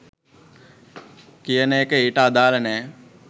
කියන එක ඊට අදාල නෑ.